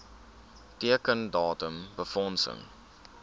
teiken datum befondsing